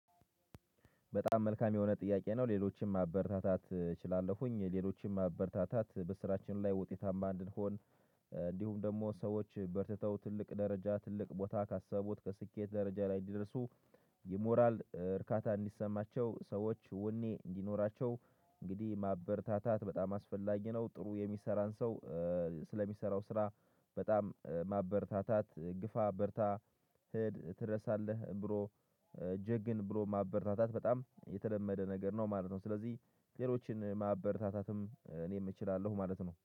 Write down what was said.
በጣም መልካም የሆነ ጥያቄ ነው ሌሎችም ማበረታታት እችላለሁኝ ሌሎችም ማበረታታት በስራችን ላይ ውጤታማ እንድንሆን። እንዲሁም ደግሞ ሰዎች በርትተው ትልቅ ደረጃ ትልቅ ቦታ ካሰቡት ከስኬት ደረጃ ላይ እንዲደርሱ። የሞራል እርካታ እንዲሰማቸው ሰዎች ወኔ እንዲኖራቸው። እንግዲህ ማበርታታት በጣም አስፈላጊ ነው። ጥሩ የሚሰራን ሰው። ስለሚሰራው ስራ በጣም ማበርታታት ግፋ በርታ ትደርሳለህ ብሮ። ጀግን ብሮ ማበርታታት በጣም የተለመደ ነገር ነው ማለት ነው። ስለዚህ ሌሎችን ማበርታታትም እኔ እችላለሁ ማለት ነው